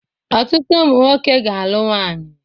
Ọtụtụ ụmụ nwoke ga-alụ nwaanyị